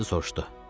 Mehdi soruşdu.